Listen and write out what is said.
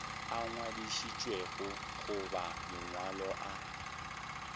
a ngwadišitšwego goba mangwalo a